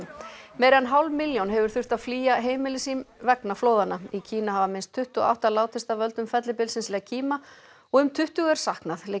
meira en hálf milljón hefur þurft að flýja heimili sín vegna flóðanna í Kína hafa minnst tuttugu og átta látist af völdum fellibylsins og um tuttugu er saknað